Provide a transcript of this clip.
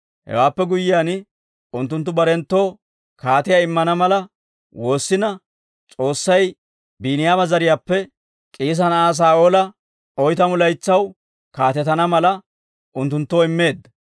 Hewaappe guyyiyaan, unttunttu barenttoo kaatiyaa immana mala woossina, S'oossay Biiniyaama zariyaappe K'iisa na'aa Saa'oola oytamu laytsaw kaatetana mala, unttunttoo immeedda.